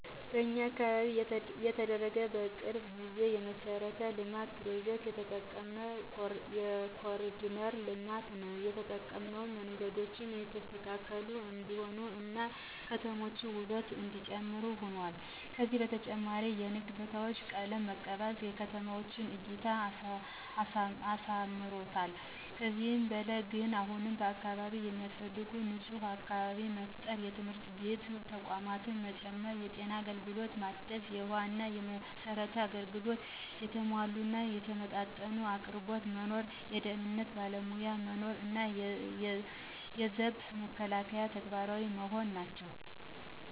በኛ አካባቢ የተደረገ የቅርብ ጊዜ የመሠረተ ልማት ፕሮጀክት የጠቀመን የኮሪደር ልማት ነው የጠቀመንም መንገዶቹ የተስተካከሉ እንዲሆኑ እና የከተማዋ ውበት እነዲጨምር ሁኗል። ከዚ በተጨማሪም የንግድ ቦታዎች ቀለም መቀባት ለከተማዋ እይታ አሳምሮታል። ከዚህ በላይ ግን አሁንም በአካባቢው የሚያስፈልገው ንፁህ አካባቢ መፍጠር፣ የትምህርት ተቋማት መጨመር፣ የጤና አገልግሎት ማደስ፣ የውሃ እና የመብራት አገልግሎት የተሟላ እና የተመጣጠነ አቅርቦት መኖር፣ የደህንነት ባለሞያ መኖር እና የዘብ መከላከያ ተግባራዊ መሆን ናቸው።